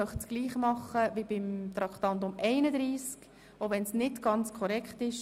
Ich möchte ebenso vorgehen wie beim letzten Traktandum, selbst wenn es nicht ganz korrekt ist.